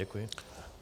Děkuji.